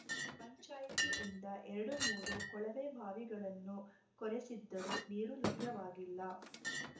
ಪಂಚಾಯಿತಿಯಿಂದ ಎರಡುಮೂರು ಕೊಳವೆಬಾವಿಗಳನ್ನು ಕೊರೆಸಿದ್ದರೂ ನೀರು ಲಭ್ಯವಾಗಿಲ್ಲ